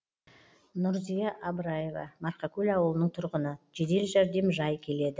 нұрзия абыраева марқакөл ауылының тұрғыны жедел жәрдем жай келеді